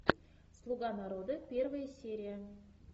слуга народа первая серия